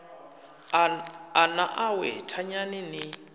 a na awe thanyani ni